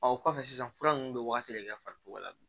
o kɔfɛ sisan fura ninnu bɛ wagati de kɛ farikolo la bi